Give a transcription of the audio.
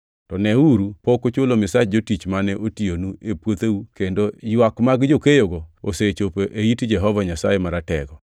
To neuru pok uchulo misach jotich mane otiyonu e puotheu kendo ywak mag jokeyogo osechopo e it Jehova Nyasaye Maratego.